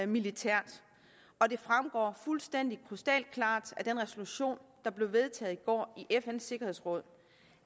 militært og det fremgår fuldstændig krystalklart af den resolution der blev vedtaget i går i fns sikkerhedsråd